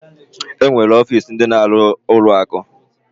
Enwere ọfịs ndi na-aru na ụlọ akụ.